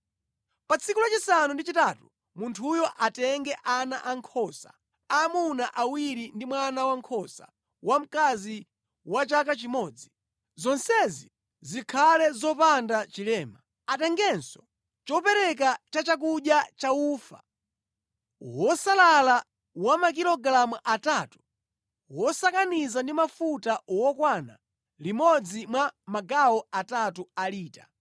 “Pa tsiku lachisanu ndi chitatu munthuyo atenge ana ankhosa aamuna awiri ndi mwana wankhosa wamkazi wa chaka chimodzi. Zonsezi zikhale zopanda chilema. Atengenso chopereka chachakudya cha ufa wosalala wa makilogalamu atatu wosakaniza ndi mafuta wokwana limodzi mwa magawo atatu a lita.